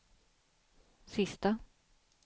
sista